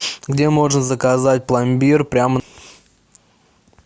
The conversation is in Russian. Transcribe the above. где можно заказать пломбир прямо